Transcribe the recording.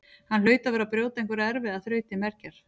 Hann hlaut að vera að brjóta einhverja erfiða þraut til mergjar.